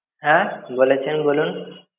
হ্যা বলেছেন বলুন?